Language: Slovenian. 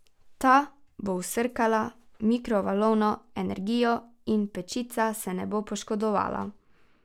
Ta bo vsrkala mikrovalovno energijo in pečica se ne bo poškodovala.